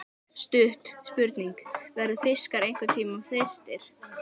Stutt spurning, verða fiskar einhverntímann þyrstir!??